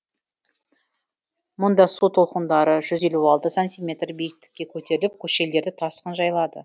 мұнда су толқындары жүз елу алты сантиметр биіктікке көтеріліп көшелерді тасқын жайлады